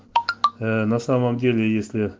на самом деле я